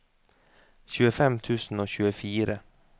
tjuefem tusen og tjuefire